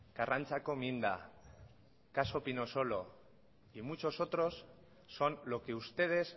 karrantzako minda caso pinosolo y muchos otros son lo que ustedes